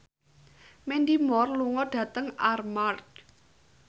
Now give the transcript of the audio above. Mandy Moore lunga dhateng Armargh